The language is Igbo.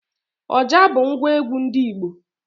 Ọjà bụ ngwa egwu ndị Igbo